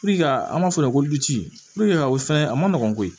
ka an b'a fɔ o fɛnɛ a ma nɔgɔn koyi